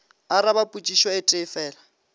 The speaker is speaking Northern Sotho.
araba potšišo e tee fela